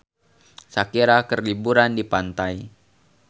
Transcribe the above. Shakira keur liburan di pantai